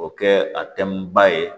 O kɛ a tɛmɛn ba ye